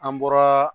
An bɔra